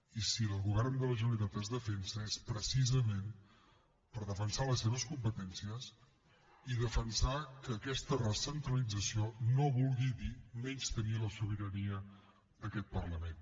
i si el govern de la generalitat es defensa és precisament per defensar les seves competències i defensar que aquesta recentralització no vulgui dir menystenir la sobirania d’aquest parlament